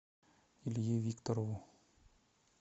илье викторову